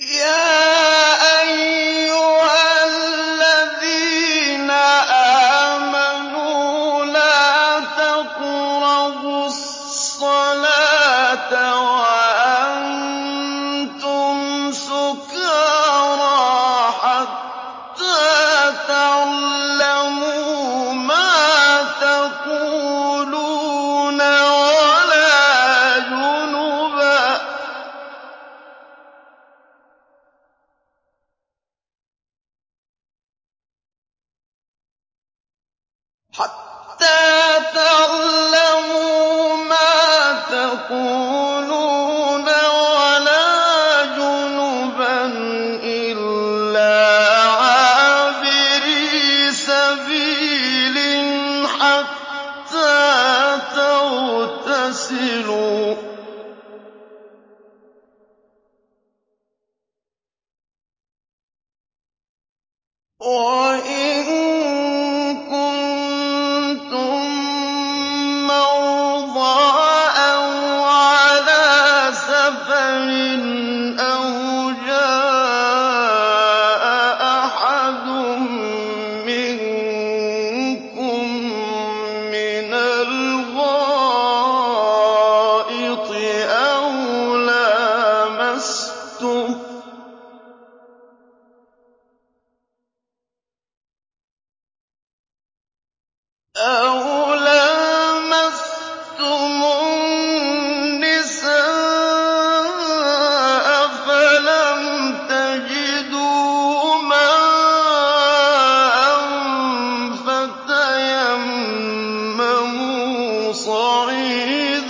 يَا أَيُّهَا الَّذِينَ آمَنُوا لَا تَقْرَبُوا الصَّلَاةَ وَأَنتُمْ سُكَارَىٰ حَتَّىٰ تَعْلَمُوا مَا تَقُولُونَ وَلَا جُنُبًا إِلَّا عَابِرِي سَبِيلٍ حَتَّىٰ تَغْتَسِلُوا ۚ وَإِن كُنتُم مَّرْضَىٰ أَوْ عَلَىٰ سَفَرٍ أَوْ جَاءَ أَحَدٌ مِّنكُم مِّنَ الْغَائِطِ أَوْ لَامَسْتُمُ النِّسَاءَ فَلَمْ تَجِدُوا مَاءً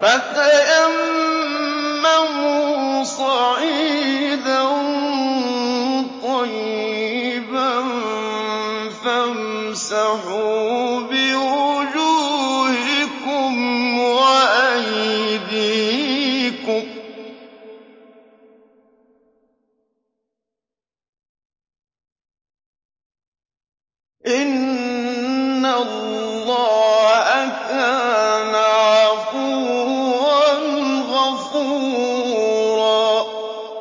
فَتَيَمَّمُوا صَعِيدًا طَيِّبًا فَامْسَحُوا بِوُجُوهِكُمْ وَأَيْدِيكُمْ ۗ إِنَّ اللَّهَ كَانَ عَفُوًّا غَفُورًا